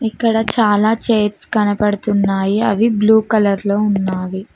ఇక్కడ చాలా చైర్స్ కనపడుతున్నాయి అవి బ్లూ కలర్ లో ఉన్నావి.